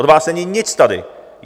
Od vás není nic tady.